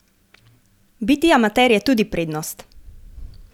Biti amater je tudi prednost!